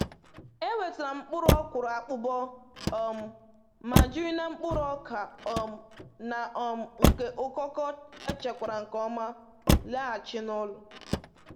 E wetara m mkpụrụ ọkwụrụ akpụkọ, um ma jiri na mkpụrụ ọka um na um nke ụkọkọ echekwara nke ọma laghachi n'ụlọ.